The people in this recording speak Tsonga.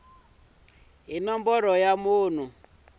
hi nomboro ya munhu ku